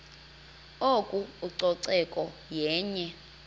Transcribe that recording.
oko ucoceko yenye